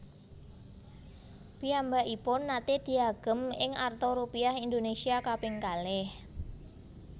Piyambakipun naté diagem ing arta Rupiah Indonesia kaping kalih